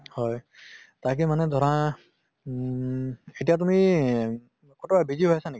হয় তাকে মানে ধৰা উম এতিয়া তুমি কতোবা busy হৈ আছে নেকি?